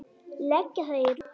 Leggja það í rúst!